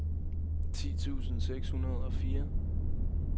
ti tusind seks hundrede og fire